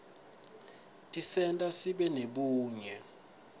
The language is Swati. tisenta sibe nebunye